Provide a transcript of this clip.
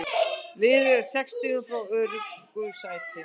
Liðið er sex stigum frá öruggu sæti.